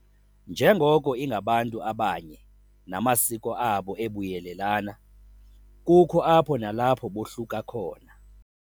Njengoko ingabantu abanye namasiko abo ebuyelelana, kukho apho nalapho bohluka khona.